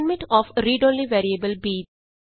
assignment of read only variable B